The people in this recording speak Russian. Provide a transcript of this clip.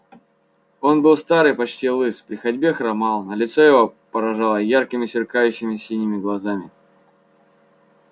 он был стар и почти лыс при ходьбе хромал но лицо его поражало яркими сверкающими синими глазами